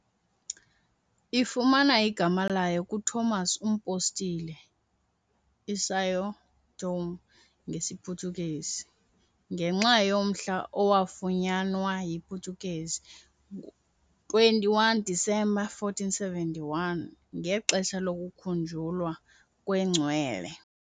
Ifumana igama layo kuTomas uMpostile, "iSão Tomé" ngesiPhuthukezi, ngenxa yomhla owafunyanwa yiPutukezi, 21 December 1471, ngexesha lokukhunjulwa kwengcwele.